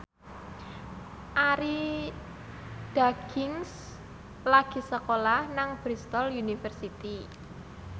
Arie Daginks lagi sekolah nang Bristol university